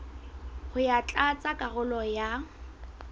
ho ya tlatsa karolo ya